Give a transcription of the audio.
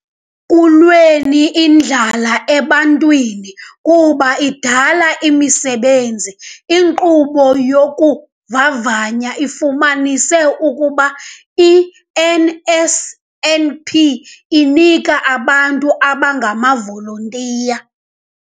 kulweni indlala ebantwini kuba idala imisebenzi. "Inkqubo yokuvavanya ifumanise ukuba i-NSNP inike abantu abangamavolontiya"